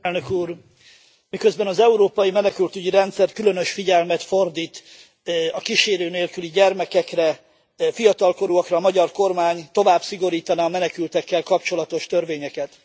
Elnök Úr, miközben az Európai Menekültügyi Rendszer különös figyelmet fordít a kísérő nélküli gyermekekre, fiatalkorúakra, a magyar kormány tovább szigorítaná a menekültekkel kapcsolatos törvényeket.